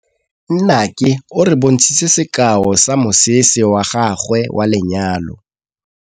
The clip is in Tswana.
Nnake o re bontshitse sekaô sa mosese wa gagwe wa lenyalo.